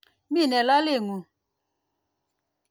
Mi ne lolet ng'ung'.